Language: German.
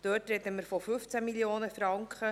Hier sprechen wir von 15 Mio. Franken.